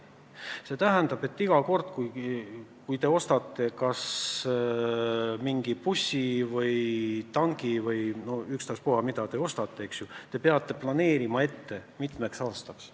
See tähendab, et iga kord, kui te ostate mingi bussi või tanki või ükstaspuha, mis transpordivahendi, te peate kulusid planeerima mitmeks aastaks.